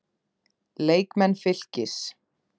Leikmenn Fylkis